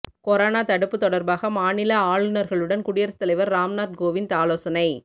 corona தடுப்பு தொடர்பாக மாநில ஆளுநர்களுடன் குடியரசுத்தலைவர் ராம்நாத் கோவிந்த் ஆலோசனை